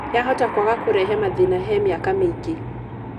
Yahota kwaga kũrehe mathĩna he mĩaka mĩingĩ.